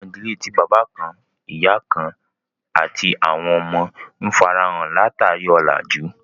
Àwọn idílẹ̀ tí baba kàn-ìyà kàn-àti àwọn ọmọ, n fáráhàn lá-tarí ọlájú